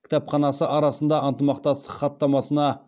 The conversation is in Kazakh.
кітапханасы арасында ынтымақтастық хаттамасына